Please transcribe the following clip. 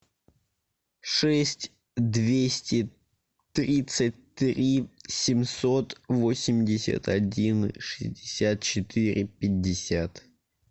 шесть двести тридцать три семьсот восемьдесят один шестьдесят четыре пятьдесят